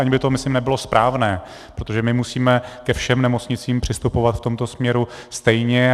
Ani by to myslím nebylo správné, protože my musíme ke všem nemocnicím přistupovat v tomto směru stejně.